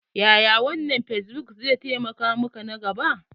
Yaya wannan fesbuk zai taimaka maka nan gaba?